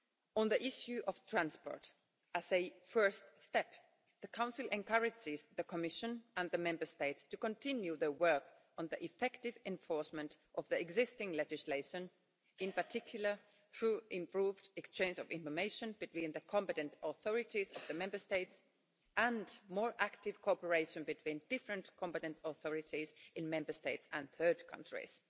On the issue of transport, as a first step, the Council encourages the Commission and the Member States to continue their work on the effective enforcement of the existing legislation, in particular through improved exchange of information between the competent authorities of the Member States, and more active cooperation between different competent authorities in Member States and third countries.